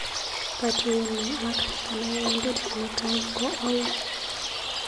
Katuiyenyu ak kanayaindet Kimutai ko auu?